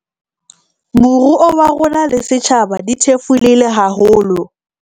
Moruo wa rona le setjhaba di thefulehile haholo.